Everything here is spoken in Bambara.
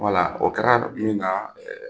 Wala o kɛra min ka